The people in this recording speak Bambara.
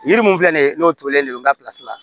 Yiri mun filɛ nin ye n'o tɔrɔlen don n ka la